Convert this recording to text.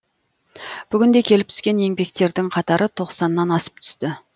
бүгінде келіп түскен еңбектердің қатары тоқсаннан асып түсті